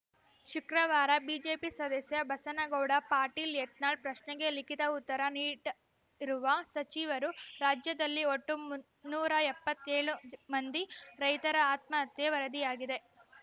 ಶುಕ್ರವಾರ ಬಿಜೆಪಿ ಸದಸ್ಯ ಬಸನಗೌಡ ಪಾಟೀಲ್‌ ಯತ್ನಾಳ್‌ ಪ್ರಶ್ನೆಗೆ ಲಿಖಿತ ಉತ್ತರ ನೀಟ್ ಇರುವ ಸಚಿವರು ರಾಜ್ಯದಲ್ಲಿ ಒಟ್ಟು ಮುನ್ನೂರ ಎಪ್ಪತ್ತೆ ಳು ಮಂದಿ ರೈತರ ಆತ್ಮಹತ್ಯೆ ವರದಿಯಾಗಿದೆ